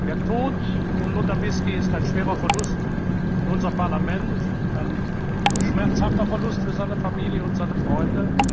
Der Tod von Lothar Bisky ist ein schwerer Verlust für unser Parlament, ein schmerzhafter Verlust für seine Familie und seine Freunde.